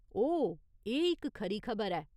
ओह्, एह् इक खरी खबर ऐ।